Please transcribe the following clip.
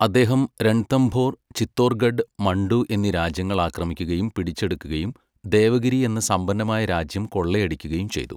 അദ്ദേഹം രൺതംഭോർ, ചിത്തോർഗഡ്, മണ്ടു എന്നീ രാജ്യങ്ങൾ ആക്രമിക്കുകയും പിടിച്ചെടുക്കുകയും ദേവഗിരി എന്ന സമ്പന്നമായ രാജ്യം കൊള്ളയടിക്കുകയും ചെയ്തു.